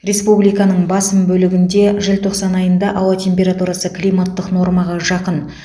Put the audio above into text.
республиканың басым бөлігінде желтоқсан айында ауа температурасы климаттық нормаға жақын